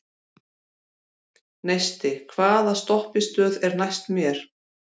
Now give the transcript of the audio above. Neisti, hvaða stoppistöð er næst mér?